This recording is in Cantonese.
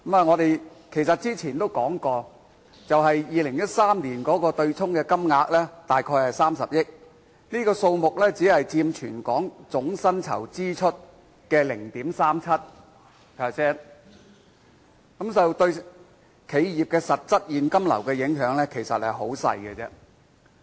我們早前已說過 ，2013 年的對沖金額約為30億元，這數目只佔全港總薪酬支出的 0.37%， 對企業的實質現金流影響甚微。